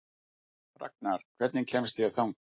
Ragnar, hvernig kemst ég þangað?